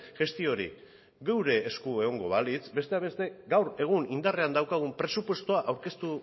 gestio hori gure esku hori egongo balitz besteak beste gaur egun indarrean daukagun presupuestoa aurkeztu